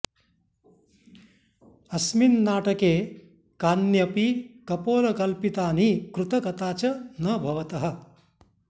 अस्मिन् नाटके कान्यपि कपोलकल्पितानि कृतकता च न भवतः